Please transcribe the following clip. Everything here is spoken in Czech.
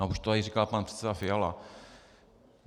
A už to tady říkal pan předseda Fiala.